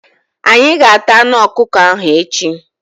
Anyị ga- ata anụ ọkụkọ ahụ echi.